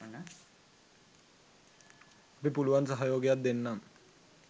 අපි පුලුවන් සහයෝගයක් දෙන්නම්